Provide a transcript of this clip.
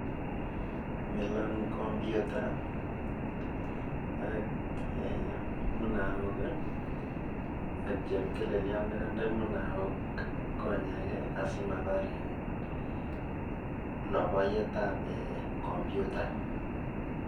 Milon kompyuta ak[um] munook ii ak chepkeleliot nekonde munook konyeek ii asimabar loboyetab um kopmyuta.